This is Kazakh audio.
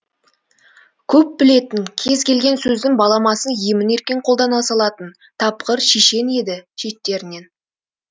көп білетін кез келген сөздің баламасын емін еркін қолдана салатын тапқыр шешен еді шеттерінен